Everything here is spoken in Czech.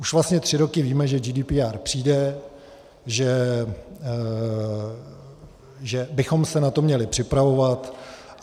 Už vlastně tři roky víme, že GDPR přijde, že bychom se na to měli připravovat.